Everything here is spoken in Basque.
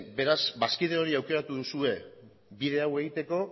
beraz bazkide hori aukeratu duzue bide hau egiteko